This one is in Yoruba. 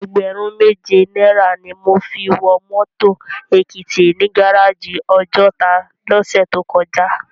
Ègbèrún méjé náirâ ni mó fi wò mòtó Ekiti ni gáráji Òjòtá lòsè tókòjá